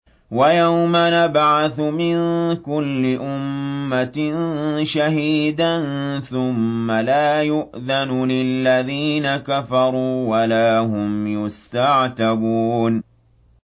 وَيَوْمَ نَبْعَثُ مِن كُلِّ أُمَّةٍ شَهِيدًا ثُمَّ لَا يُؤْذَنُ لِلَّذِينَ كَفَرُوا وَلَا هُمْ يُسْتَعْتَبُونَ